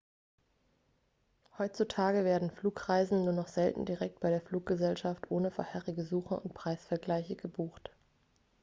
heutzutage werden flugreisen nur noch selten direkt bei der fluggesellschaft ohne vorherige suche und preisvergleiche gebucht